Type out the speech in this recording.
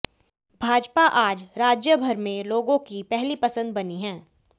भाजपा आज राज्य भर में लोगों की पहली पसंद बनी है